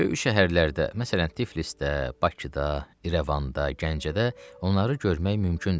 Böyük şəhərlərdə, məsələn Tiflisdə, Bakıda, İrəvanda, Gəncədə onları görmək mümkündür.